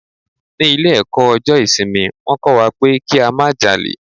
Ní ilé ẹ̀kọ́ ọjọ́ ìsinmi, wón kó wa pé kí a má jalè.